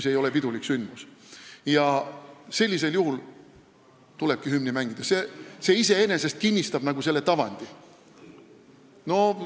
Sellistel juhtudel tulebki hümni mängida, mis iseenesest kinnistab selle tavandi.